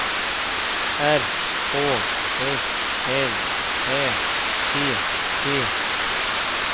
R Å S L Ä T T